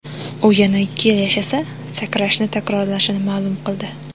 U yana ikki yil yashasa, sakrashni takrorlashini ma’lum qildi.